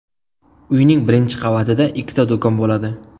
Uyning birinchi qavatida ikkita do‘kon bo‘ladi.